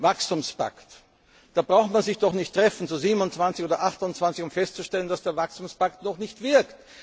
Wachstumspakt Da braucht man sich doch nicht zu 27 oder 28 treffen, um festzustellen, dass der Wachstumspakt noch nicht wirkt.